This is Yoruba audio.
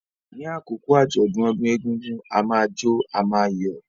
Ní àkókò àjọ̀dún ọdún egúngún, a máa jó, a máa yọ̀.